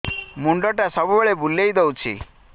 ମୁଣ୍ଡଟା ସବୁବେଳେ ବୁଲେଇ ଦଉଛି